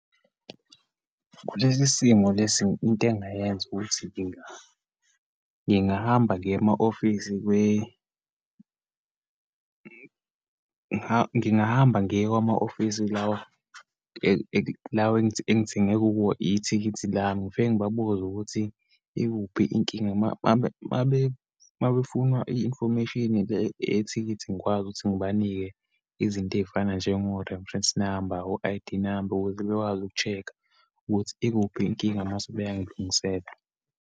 Kulesi simo lesi, into engingayenza ukuthi ngingahamba ngiye ema-ofisi ngingahamba ngiye kwama-ofisi lawa lawa engithenge kubo ithikithi lami, ngifike ngibabuze ukuthi ikuphi inkinga. Uma, uma uma befuna i-information le yethikithi, ngikwazi ukuthi ngibanike izinto eyifana njengo-reference number, wo-I_D number ukuze bekwazi uku-check-a ukuthi ikuphi inkinga mase beyangilungisela.